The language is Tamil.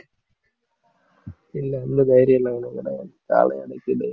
இல்ல அந்த தைரியம் எல்லாம் ஒண்ணும் கிடையாது காளையை அடக்கிட்டு